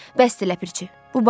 Bəsdir Ləpirçi.